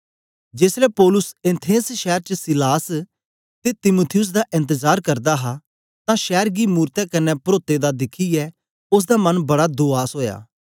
जेसलै पौलुस एथेंस शैर च सीलास ते तीमुथियुस दा एन्तजार करदा हा तां शैर गी मूरतें कन्ने परोते दा दिखियै ओसदा मन बड़ा दूआस ओया